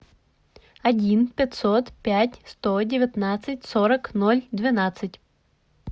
один пятьсот пять сто девятнадцать сорок ноль двенадцать